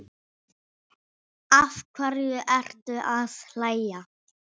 Af hverju ertu að hlæja?